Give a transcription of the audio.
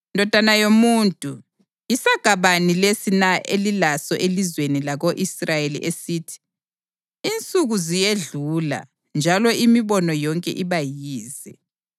“Ndodana yomuntu, yisaga bani lesi na elilaso elizweni lako-Israyeli esithi: ‘Insuku ziyedlula njalo imibono yonke iba yize’?